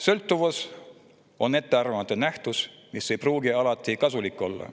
Sõltuvus on ettearvamatu nähtus, mis ei pruugi alati kasulik olla.